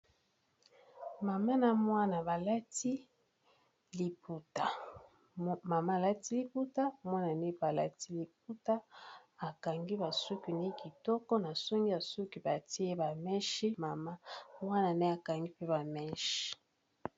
Mama na mwana balati libuta Mama mwana na pe alati libuta, akangi basuki ne kitoko na songi basuki batie ba meshe mama wana ne akangi pe ba meshi.